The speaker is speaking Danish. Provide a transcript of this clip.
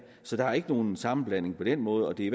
så der er ikke nogen sammenblanding på den måde og det